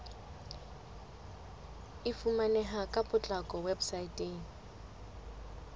e fumaneha ka potlako weposaeteng